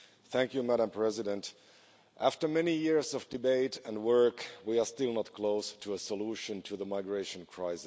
Madam President, after many years of debate and work we are still not close to a solution to the migration crisis.